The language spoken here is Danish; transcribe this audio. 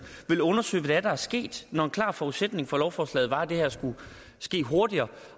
vil undersøge hvad der er sket når en klar forudsætning for lovforslaget var at det her skulle ske hurtigere